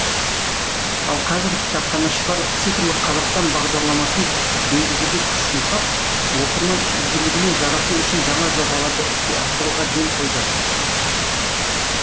ал қазір кітапханашылар цифрлық қазақстан бағдарламасын енгізуге күш жұмсап оқырман игілігіне жарату үшін жаңа жобаларды іске асыруға ден қойды